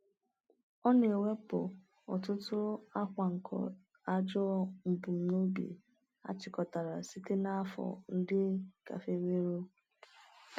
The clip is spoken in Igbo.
Ọ na-ewepụ ọtụtụ akwa nke ajọ mbunobi achịkọtara site n’afọ ndị gafeworo.